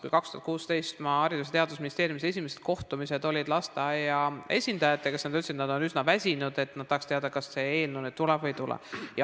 Kui 2016 olid mul Haridus- ja Teadusministeeriumis esimesed kohtumised lasteaiaesindajatega, siis nad ütlesid, et nad on üsna väsinud ja nad tahaks teada, kas see eelnõu nüüd tuleb või ei tule.